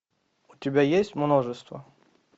у тебя есть множество